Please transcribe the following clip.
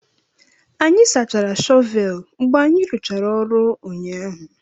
Anyị sachara shọvel mgbe anyị rụchara ọrụ ụnyaahụ